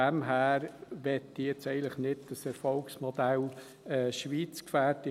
Daher will ich jetzt dieses Erfolgsmodell Schweiz eigentlich nicht gefährden.